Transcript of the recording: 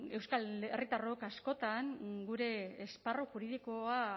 euskal herritarrok askotan gure esparru juridikoa